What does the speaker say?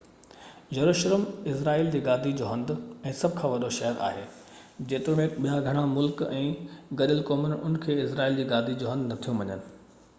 يروشلم اسرائيل جي گادي جو هنڌ ۽ سڀ کان وڏو شهر آهي جيتوڻڪ ٻيا گهڻا ملڪ ۽ گڏيل قومون ان کي اسرائيل جي گادي جو هنڌ نٿيون مڃن